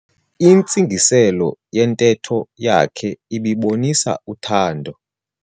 Intsingiselo yentetho yakhe ibibonisa uthando.